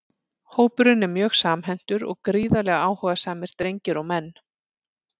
Hópurinn er mjög samhentur og gríðarlega áhugasamir drengir og menn!